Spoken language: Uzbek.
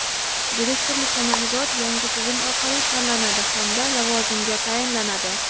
direktorlikka nomzodlar yangi tizim orqali tanlanadi hamda lavozimga tayinlanadi.